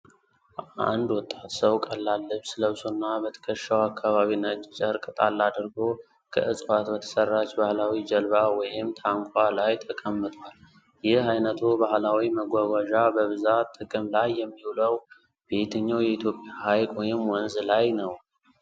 አንድ ወጣት ሰው፣ ቀላል ልብስ ለብሶና በትከሻው አካባቢ ነጭ ጨርቅ ጣል አድርጎ፣ ከዕፅዋት በተሠራች ባህላዊ ጀልባ (ታናኳ) ላይ ተቀምጧል፤ ይህ ዓይነቱ ባህላዊ መጓጓዣ በብዛት ጥቅም ላይ የሚውለው በየትኛው የኢትዮጵያ ሀይቅ ወይም ወንዝ ላይ ነው?